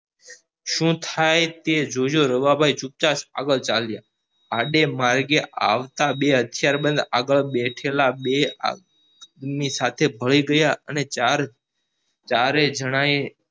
શું થાય તે જોજો રવા ભાઈ ચુપચાપ આગળ ચાલજો આડે માર્ગે આવતા બે હથિયારબંધ આગળ બેઠેલા બે ની સાથે ભળી ગયા અને ચાર ચારેય જણા એ